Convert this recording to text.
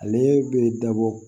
Ale bɛ dabɔ